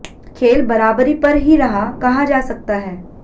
खेल बराबरी पर ही रहा कहा जा सकता है